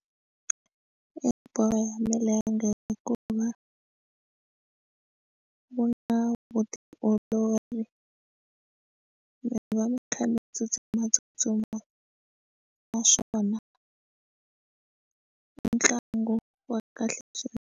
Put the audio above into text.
I bolo ya milenge hikuva wu na vutiolori mi va mi kha mi tsutsumatsutsuma naswona i ntlangu wa kahle swinene.